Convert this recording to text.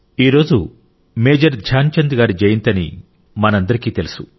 ఈరోజు మేజర్ ధ్యాన్ చంద్ గారి జయంతి అని మనందరికీ తెలుసు